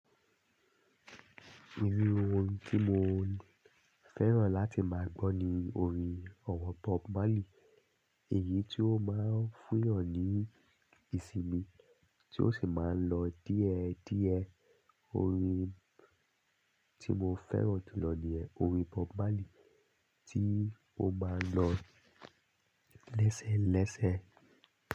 Iru orin tí mo fẹ́ràn láti máa gbọ́ ni orin ọ̀wọ́ Bob Marley. Èyí tí ó máa ń fún yàn ní ìsinmi tí ó sì máa ń lọ díẹ̀ díẹ̀. Orin tí mo fẹ́ràn jù lọ ní ẹ orin Bob Marley tí ó máa ń lọ lẹ́sẹ́ lẹ́sẹ́.